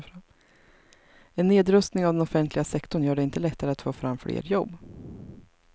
En nedrustning av den offentliga sektorn gör det inte lättare att få fram fler jobb.